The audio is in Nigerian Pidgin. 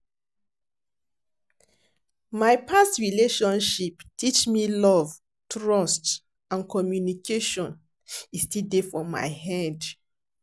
My past relationship teach me love, trust, and communication, e still dey for my head.